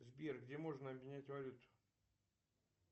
сбер где можно обменять валюту